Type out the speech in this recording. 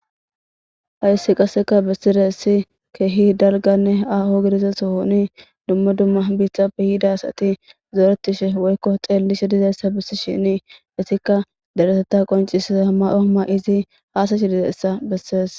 Hayssi qaseka bessire essi keehi dalganne aho gidiza sohoni dumma dumma biixape yidasati zooretishe woykko xeellishe dizayssa bissi shini isikka daretetta qoncisza ma7ooma izi haasashi dizaessa bessees.